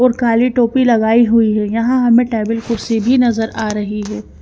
ओर काली टोपी लगाई हुई है यहां हमें टेबल कुर्सी भी नजर आ रही है।